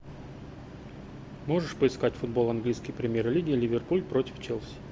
можешь поискать футбол английской премьер лиги ливерпуль против челси